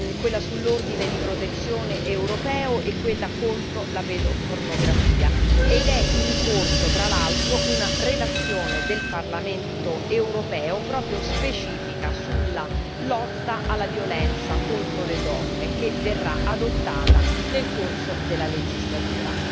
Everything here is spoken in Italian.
quella sull'ordine di protezione europeo e quella contro pedopornografia ed è in corso, tra l'altro, una relazione del Parlamento europeo proprio specifica sulla lotta alla violenza contro le donne che verrà adottata nel corso della legislatura.